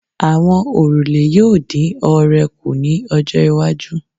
Àwọn òrùlé yóò lè dín oore kù ní ọjọ́-iwájú.